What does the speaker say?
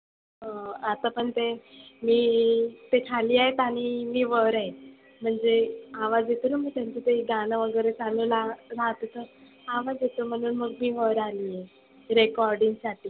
आता पण ते मी ते खाली आहेत आणि मी वर आहे. म्हणजे आवाज येतोना मग त्यांचा ते गाण वगैरे चालुला राहतत. आवाज येतो म्हणुन मग मी वर आली आहे. recording साठी.